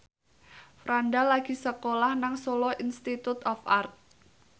Franda lagi sekolah nang Solo Institute of Art